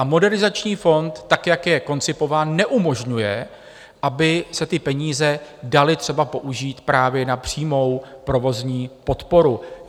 A Modernizační fond tak, jak je koncipován, neumožňuje, aby se ty peníze daly třeba použít právě na přímou provozní podporu.